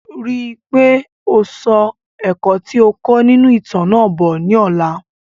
Rí dájú pé o so ẹ̀kọ́ ti o kọ́ nínú ìtàn náà bo ni ọ̀la